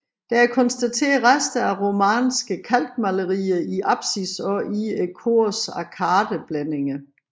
Der er konstateret rester af romanske kalkmalerier i apsis og i korets arkadeblændinger